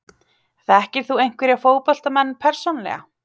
Þekkir þú einhverja fótboltamenn persónulega?